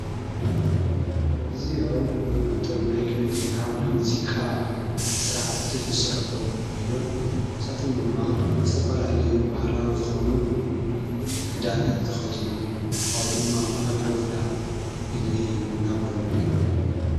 እዙኦም ኣብቶም ናይ ክነት ወከዓና ሙዚቃ ሠራሓቲ ዙሰርሑ ወይኖም ሳቶም ድማ ስተፈላለዩ ባህላዊ ዝኾኑ ክዳና ትኸዲኖም ኣሎ ኣው ድማ ኣውጐፍላ ምግቢ እናበሉዑ ይረአዩ።